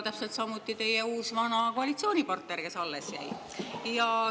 Täpselt samuti teie uus-vana koalitsioonipartner, kes alles jäi?